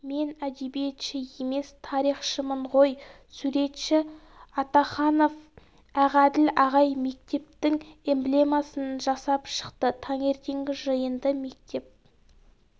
мен әдебиетші емес тарихшымын ғой суретші атаханов ақәділ ағай мектептің эмблемасын жасап шықты таңертеңгі жиынды мектеп